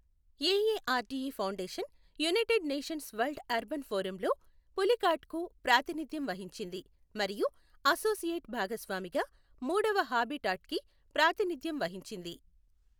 AARDE foundation United Nations World Urban ఫోరమ్లో పులికాట్కు ప్రాతినిధ్యం వహించింది మరియు అసోసియేట్ భాగస్వామిగా మూడవ హాబిటాట్కి ప్రాతినిధ్యం వహించింది.